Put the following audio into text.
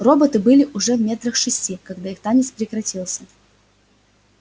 роботы были уже метрах в шести когда их танец прекратился